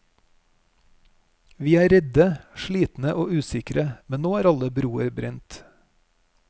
Vi er redde, slitne og usikre, men nå er alle broer brent.